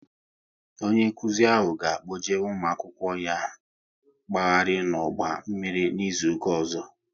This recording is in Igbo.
Onye nkụzi ahụ ga kpọje ụmụ akwụkwọ ya mkpaghari n'ọgba mmiri n'izuka ọzọ